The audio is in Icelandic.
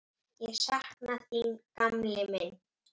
Ég sakna þín, gamli minn.